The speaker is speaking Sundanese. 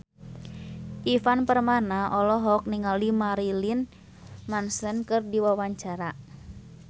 Ivan Permana olohok ningali Marilyn Manson keur diwawancara